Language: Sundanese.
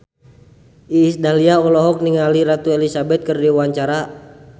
Iis Dahlia olohok ningali Ratu Elizabeth keur diwawancara